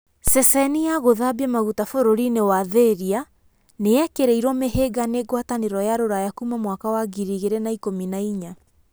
Ceceni ya gũthambia maguta bũrũri-inĩ wa Thĩria nĩ yekĩrĩirwo mĩhĩnga nĩ Ngwatanĩro ya Ruraya kuuma mwaka wa ngirĩ igĩrĩ na ikũmi na-inya.